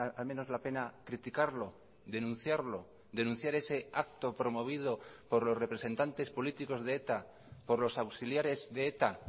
al menos la pena criticarlo denunciarlo denunciar ese acto promovido por los representantes políticos de eta por los auxiliares de eta